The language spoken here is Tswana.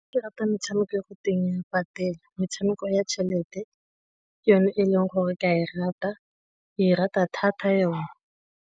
Me rata metshameko r go teng e a patela, metshameko ya tšhelete ka yone e leng gore ke a e rata thata yone.